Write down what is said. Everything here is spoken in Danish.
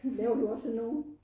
Laver du også sådan nogle?